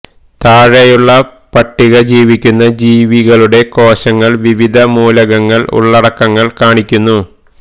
താഴെയുള്ള പട്ടിക ജീവിക്കുന്ന ജീവികളുടെ കോശങ്ങൾ വിവിധ മൂലകങ്ങൾ ഉള്ളടക്കങ്ങൾ കാണിക്കുന്നു